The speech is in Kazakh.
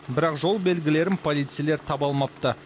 бірақ жол белгілерін полицейлер таба алмапты